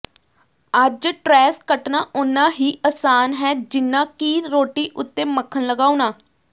ਅੱਜ ਟ੍ਰੈੱਸ ਕੱਟਣਾ ਓਨਾ ਹੀ ਅਸਾਨ ਹੈ ਜਿੰਨਾ ਕਿ ਰੋਟੀ ਉੱਤੇ ਮੱਖਣ ਲਗਾਉਣਾ